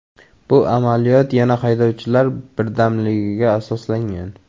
Bu amaliyot, yana haydovchilar birdamligiga asoslangan.